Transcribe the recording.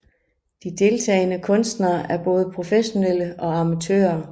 De deltagende kunstnere er både professionelle og amatører